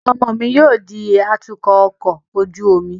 Ọmọ mi yóò di atukọ ọkọ ojú omi